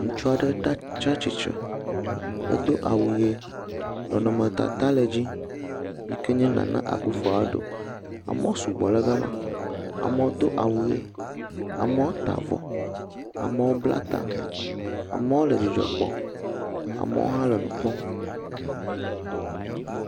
Ŋutsu aɖe te tsi atsitre. Edo awu ʋi nɔnɔmetata le edzi yike nye Nana Akuffo Addo. Amewo sugbɔ ɖe ga ma. Amewo do awu ʋi, amewo ta avɔ, amewo bla ta, amewo le dzidzɔ kpɔm, amewo hã le nu kpɔm.